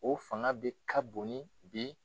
O fanga de ka bon ni bi